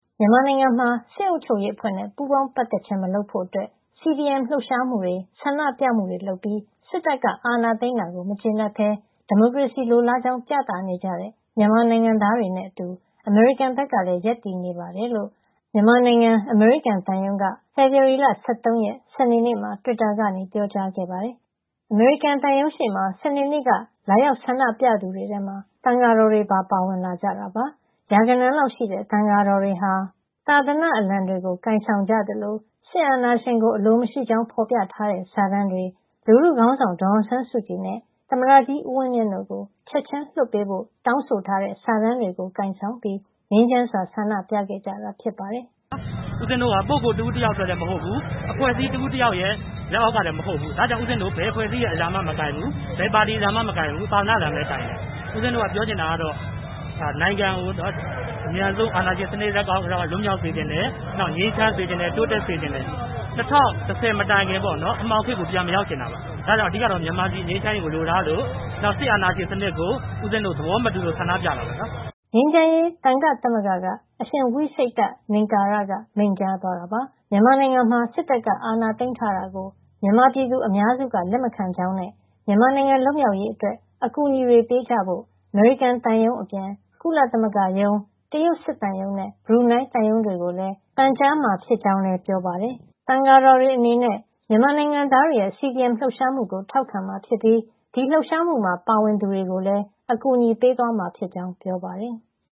မြန်မာနိုင်ငံမှာ စစ်အုပ်ချုပ်ရေးအဖွဲ့နဲ့ ပူးပေါင်းပတ်သက်ခြင်း မလုပ်ဖို့ CDM လှုပ်ရှားမှုတွေ၊ ဆန္ဒပြမှုတွေ လုပ်ပြီး စစ်တပ်က အာဏာသိမ်းတာကို မကျေနပ်ဘဲ ဒီမိုကရေစီလိုလားကြောင်း ပြသနေကြတဲ့ မြန်မာနိုင်ငံသားတွေနဲ့အတူ အမေရိကန်ဘက်ကလည်း ရပ်တည်နေတယ်လို့ မြန်မာနိုင်ငံ အမေရိကန်သံရုံးက ဖေဖော်ဝါရီလ ၁၃ ရက် စနေနေ့မှာ တွစ်တာကနေ ပြောကြားခဲ့ပါတယ်။ အမေရိကန်သံရုံးရှေ့မှာ စနေနေ့က လာရောက်ဆန္ဒပြသူတွေထဲမှာ သံယာတော်တွေပါ ပါဝင်လာတာပါ။ ရာဂဏန်းလောက်ရှိတဲ့ သံယာတော်တွေဟာ သာသနာ့အလံတွေ ကိုင်ဆောင်ပြီး စစ်အာဏာရှင်ကို အလိုမရှိကြောင်း ဖော်ပြထားတဲ့ စာတန်းတွေ၊ လူထုခေါင်းဆောင် ဒေါ်အောင်ဆန်းစုကြည်နဲ့ သမ္မတကြီး ဦးဝင်းမြင့်တို့ကို ချက်ချင်းလွှတ်ပေးဖို့ စာတန်းတွေ ကိုင်ဆောင်ပြီး ငြိမ်းချမ်းစွာ ဆန္ဒပြခဲ့ကြတာ ဖြစ်ပါတယ်။ “ဦးဇင်းတို့က ပုဂ္ဂိုလ်တဦးတယောက်အတွက် မဟုတ်ဘူး။ အဖွဲ့အစည်းတခု လက်အောက်ကလည်း မဟုတ်ဘူး။ ဒါကြောင့် ဦးဇင်းတို့ ဘယ်အဖွဲ့အစည်းရဲ့ အလံမှလည်း မကိုင်ဘူး၊ ဘယ်ပါတီအလံမှလည်း မကိုင်ဘူး။ သာသနာ့အလံပဲ ကိုင်တယ်။ ဦးဇင်းတို့ ပြောချင်တာကတော့ နိုင်ငံကို အမြန်ဆုံး အာဏာရှင်စနစ် လက်က လွတ်မြောက်စေချင်တယ်။ ငြိမ်းချမ်းစေချင်တယ်။ တိုးတက်စေချင်တယ်။ ၂၀၁၀ မတိုင်ခင်က အမှောင်ခေတ်ကို ပြန်မရောက်စေချင်ဘူး။ အဓိကကတော့ မြန်မာပြည် ငြိမ်းချမ်းရေးကို လိုလားသလို စစ်အာဏာရှင်စနစ်ကို ဦးဇင်းတို့ သဘောမတူလို့ ဆန္ဒပြတာပါ။” ငြိမ်းချမ်းရေး သံယာ့သမဂ္ဂက အရှင်ဝိစိတ္တ လင်္ကာရက မိန့်ကြားသွားတာပါ။ မြန်မာနိုင်ငံမှာ စစ်တပ်က အာဏာသိမ်းထားတာကို မြန်မာပြည်သူ အများစုက လက်မခံကြောင်းနဲ့ မြန်မာနိုင်ငံ လွတ်မြောက်ရေးအတွက် အကူအညီတွေပေးကြဖို့ အမေရိကန်သံရုံးအပြင် ကုလသမဂ္ဂရုံး၊ တရုတ်စစ်သံရုံးနဲ့ ဘရူနိုင်းသံရုံးတွေကိုလည်း ပန်ကြားမှာဖြစ်ကြောင်း ပြောပါတယ်။ သံယာတော်တွေအနေနဲ့ မြန်မာနိုင်ငံသားတွေရဲ့ CDM လှုပ်ရှားမှုကို ထောက်ခံမှာဖြစ်ပြီး ဒီလှုပ်ရှားမှုမှာ ပါဝင်သူတွေကိုလည်း အကူအညီပေးမှာ ဖြစ်ကြောင်း ပြောပါတယ်။